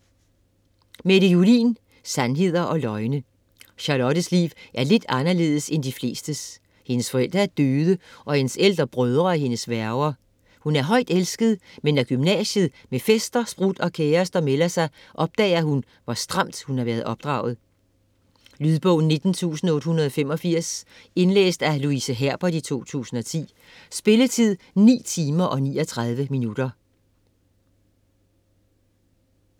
Julin, Mette: Sandheder & løgne Charlottes liv er lidt anderledes en de flestes. Hendes forældre er døde og hendes ældre brødre er hendes værger. Hun er højt elsket, men da gymnasiet med fester, sprut og kærester melder sig, opdager hun, hvor stramt hun har været opdraget. Lydbog 19885 Indlæst af Louise Herbert, 2010. Spilletid: 9 timer, 39 minutter.